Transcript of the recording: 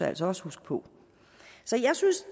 altså også huske på så jeg synes